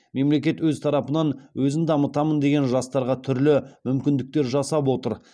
мемлекет өз тарапынан өзін дамытамын деген жастарға түрлі мүмкіндіктер жасап отыр